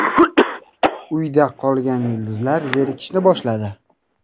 Uyda qolgan yulduzlar zerikishni boshladi.